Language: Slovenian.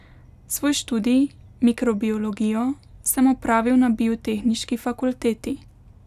Svoj študij, mikrobiologijo, sem opravil na Biotehniški fakulteti.